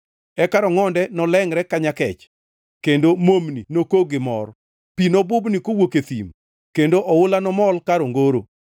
Eka rongʼonde nolengʼre ka nyakech kendo momni nokog gi mor. Pi nobubni kowuok e thim, kendo oula nomol kar ongoro.